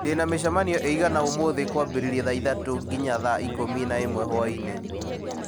ndĩna mĩcemanio ĩigana ũmũthĩ kwambĩrĩria thaa ithatũ nginya thaa ikũmi na ĩmwe hwaĩ-inĩ